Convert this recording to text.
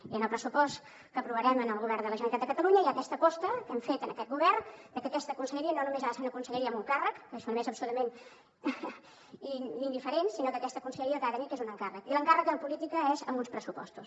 i en el pressupost que aprovarem en el govern de la generalitat de catalunya hi ha aquesta aposta que hem fet en aquest govern de que aquesta conselleria no només ha de ser una conselleria amb un càrrec que això només és absolutament indiferent sinó que aquesta conselleria el que ha de tenir és un encàrrec i l’encàrrec en política és amb uns pressupostos